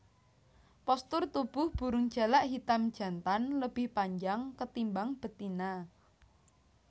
Postur tubuh burung jalak hitam jantan lebih panjang ketimbang betina